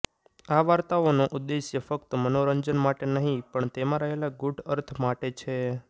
આ વાર્તાઓનો ઉદેશ્ય ફક્ત મનોરંજન માટે નહી પણ તેમાં રહેલા ગુઢ અર્થ માટે છે